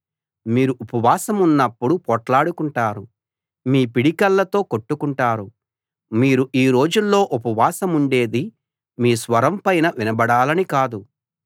మీరు ఉపవాసమున్నప్పుడు పోట్లాడుకుంటారు మీ పిడికిళ్ళతో కొట్టుకుంటారు మీరు ఈ రోజుల్లో ఉపవాసముండేది మీ స్వరం పైన వినబడాలని కాదు